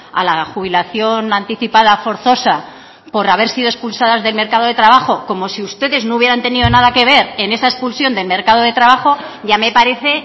a la jubilación anticipada forzosa por haber sido expulsadas del mercado de trabajo como si ustedes no hubieran tenido nada que ver en esa expulsión del mercado de trabajo ya me parece